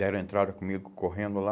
Deram entrada comigo correndo lá.